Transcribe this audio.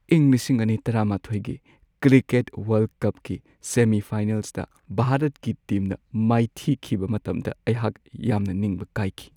ꯏꯪ ꯲꯰꯱꯱ꯒꯤ cricket world ꯀꯞꯀꯤ ꯁꯦꯃꯤ-ꯐꯥꯏꯅꯦꯜꯁꯇ ꯚꯥꯔꯠꯀꯤ ꯇꯤꯝꯅ ꯃꯥꯏꯊꯤꯈꯤꯕ ꯃꯇꯝꯗ ꯑꯩꯍꯥꯛ ꯌꯥꯝꯅ ꯅꯤꯡꯕ ꯀꯥꯏꯈꯤ ꯫